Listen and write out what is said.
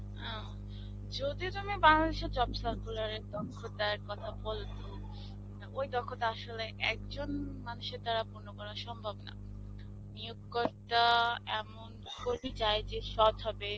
ও, যদি তুমি বাংলাদেশের job circular এর দক্ষতার কথা বল, ওই দক্ষতা আসলে একজন মানুষের দ্বারা পুর্ন্য করা সম্ভব নয়. নিয়োগকর্তা এমন কর্মী চায় যে সৎ হবে.